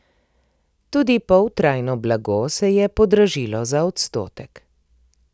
Tudi poltrajno blago se je podražilo za odstotek.